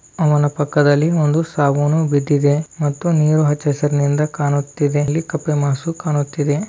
ಅವನ ಪಕ್ಕದಲ್ಲಿ ಒಂದು ಸಾಬೂನು ಬಿದ್ದಿದೆ ಮತ್ತು ನೀರು ಹಚ್ಚಹಸುರಿನಿಂದ ಕಾಣುತ್ತಿದೆ ಅಲ್ಲಿ ಕಪ್ಪೆ ಮಸು ಕಾಣುತ್ತಿದೆ.